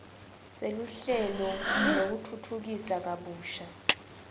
seluhlelo lwekutfutfukisa kabusha